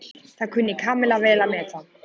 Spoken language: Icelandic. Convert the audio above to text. Það kunni Kamilla vel að meta.